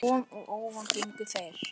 Uppá von og óvon gengu þeir